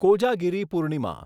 Kojagiri Purnima